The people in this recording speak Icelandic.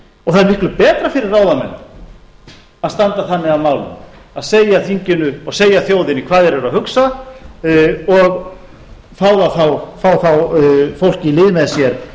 og það er miklu betra fyrir ráðamenn að standa þannig að málum að segja þinginu og segja þjóðinni hvað þeir eru að hugsa og fá þá fólk í lið með sér